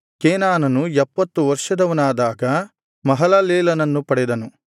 ಕೇನಾನನು ಎಪ್ಪತ್ತು ವರ್ಷದವನಾದಾಗ ಮಹಲಲೇಲನನ್ನು ಪಡೆದನು